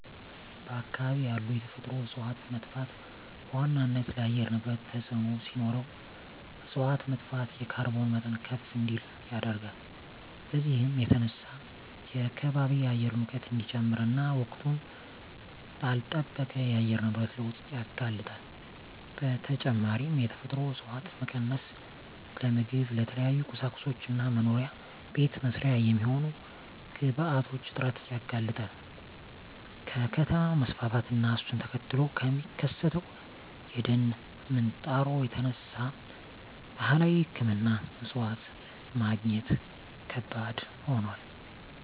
በአካባቢ ያሉ የተፈጥሮ እፀዋት መጥፋት በዋናነት ለአየር ንብረት ተፅዕኖ ሲኖረው እፅዋት መጥፋት የካርቦን መጠን ከፍ እንዲል ያደርጋል። በዚህም የተነሳ የከባቢ አየር ሙቀት እንዲጨምር እና ወቅቱን ላልለጠበቀ የአየር ንብረት ለውጥ ያጋልጣል። በተጨማሪም የተፈጥሮ እፀዋት መቀነስ ለምግብ፣ ለተለያዩ ቁሳቁሶች እና መኖሪያ ቤት መስሪያ የሚሆኑ ግብአቶች እጥረት ያጋልጣል። ከከተማ መስፋፋት እና እሱን ተከትሎ ከሚከሰተው የደን ምንጣሮ የተነሳ ባህላዊ ሕክምና እፅዋት ማግኘት ከባድ ሆኗል።